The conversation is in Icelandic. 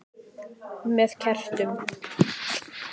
Með kertum?